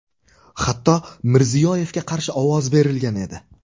Hatto Mirziyoyevga qarshi ovoz berilgan edi.